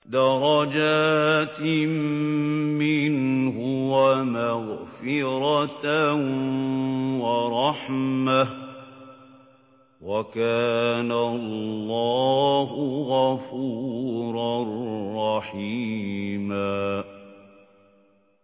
دَرَجَاتٍ مِّنْهُ وَمَغْفِرَةً وَرَحْمَةً ۚ وَكَانَ اللَّهُ غَفُورًا رَّحِيمًا